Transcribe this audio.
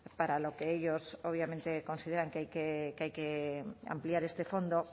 para lo que ellos obviamente consideran que hay que ampliar este fondo